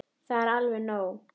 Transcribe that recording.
Það er alveg nóg.